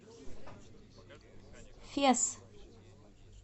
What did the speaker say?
фес